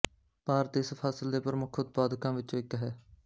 ਭਾਰਤ ਇਸ ਫਸਲ ਦੇ ਪ੍ਰਮੁੱਖ ਉਤਪਾਦਕਾਂ ਵਿਚੋਂ ਇੱਕ ਹੈ